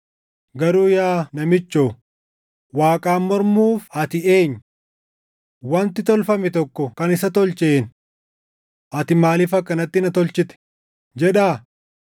Garuu yaa namichoo, Waaqaan mormuuf ati eenyu? “Wanti tolfame tokko kan isa tolcheen, ‘Ati maaliif akkanatti na tolchite?’ ”+ 9:20 \+xt Isa 29:16; 45:9\+xt* jedhaa?